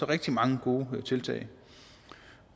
rigtig mange gode tiltag